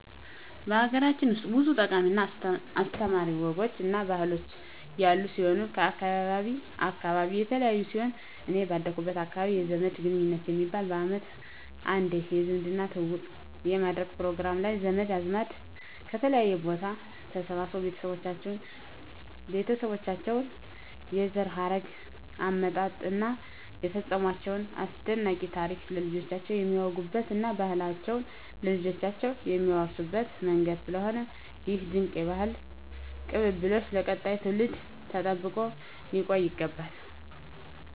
ሀገራችን ውስጥ ብዙ ጠቃሚ እና አስተማሪ ወጎች እና ባህሎች ያሉን ሲሆን ከአካባቢ አካባቢ የተለያዩ ሲሆን እኔ ባደኩበት አካባቢ የዘመድ ግንኙት የሚባል በአመት አንዴ የዝምድና ትውውቅ የሚደረግበት ፕሮግራም ላይ ዘመድ አዝማድ ከተለያየ ቦታ ተሰባስቦ የቤተሰባቸውን የዘር ሀረግ አመጣጥ እና የፈፀሟቸውን አስደናቂ ታሪክ ለልጆቻቸው የሚያወጉበት እና ባህላቸውን ለልጆቻቸው የሚያወርሱበት መንገድ ስለሆነ ይህ ድንቅ የባህል ቅብብሎሽ ለቀጣዩ ትውልድ ተጠብቆ ሊቆይ ይገባል።